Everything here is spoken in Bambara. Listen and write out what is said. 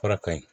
Fura ka ɲi